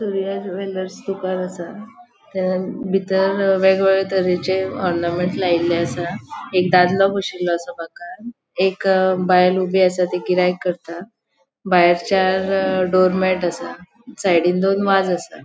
दुकान आसा त्या बितर वेग वेगळे तरेचे ऑर्नामेंट्स लायले आसा एक दादलों बोशीलों आसा बाकार एक बायल ऊबी आसा ती गिराईक करता भायर चार डोर्मैट आसा साइडीन दोन वाज आसा.